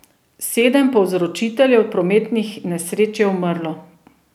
Sedem povzročiteljev prometnih nesreč je umrlo.